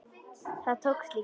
Það tókst líka.